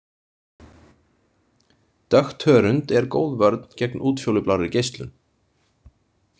Dökkt hörund er góð vörn gegn útfjólublárri geislun.